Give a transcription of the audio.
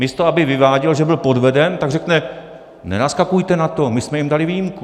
Místo aby vyváděl, že byl podveden, tak řekne: nenaskakujte na to, my jsme jim dali výjimku.